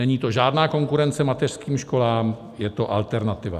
Není to žádná konkurence mateřským školám, je to alternativa."